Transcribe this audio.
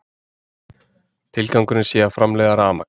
Tilgangurinn sé að framleiða rafmagn